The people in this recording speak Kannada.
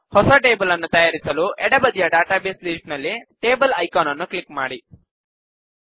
ಹೊಸ ಟೇಬಲ್ ನ್ನು ತಯಾರಿಸಲು ಎಡಬದಿಯ ಡಾಟಾಬೇಸ್ ಲಿಸ್ಟ್ ನಲ್ಲಿ ಟೇಬಲ್ ಐಕಾನ್ ನ್ನು ಕ್ಲಿಕ್ ಮಾಡಿ